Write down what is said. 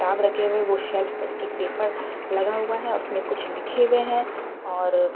किताब रखे हुए हैं वो सेल्फ में एक एक पेपर लगा हुआ है और उसमें कुछ लिखे हुए हैं और --